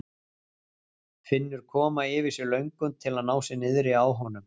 Finnur koma yfir sig löngun til að ná sér niðri á honum.